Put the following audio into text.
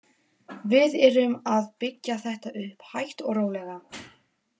Við erum að byggja þetta upp hægt og rólega.